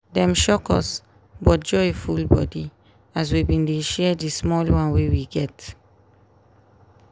dem shock us but joy full body as we been dey share di small one wey we get